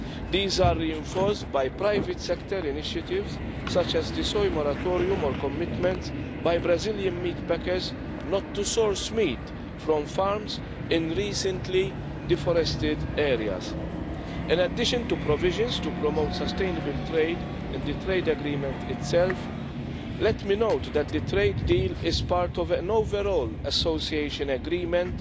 These are reinforced by private-sector initiatives, such as the Soy Moratorium or commitments by Brazilian meatpackers not to source meat from farms in recently deforested areas. In addition to provisions to promote sustainable trade and the trade agreement itself, let me note that the trade deal is part of an overall association agreement